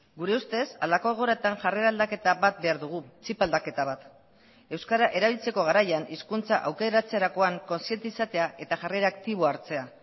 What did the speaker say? gure ustez halako egoeratan jarrera aldaketa bat behar dugu txip aldaketa bat euskara erabiltzeko garaian hizkuntza aukeratzerakoan kontziente izatea eta jarrera aktiboa hartzea